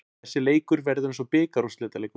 Þessi leikur verður eins og bikarúrslitaleikur.